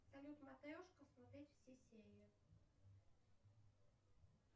салют матрешка смотреть все серии